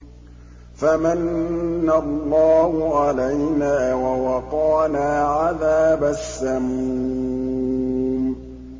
فَمَنَّ اللَّهُ عَلَيْنَا وَوَقَانَا عَذَابَ السَّمُومِ